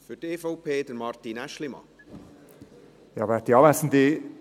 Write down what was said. Ich äussere mich zum Antrag Leuenberger, BDP.